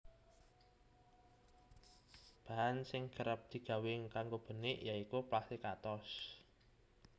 Bahan sing kerep digawé kanggo benik ya iku plastik atos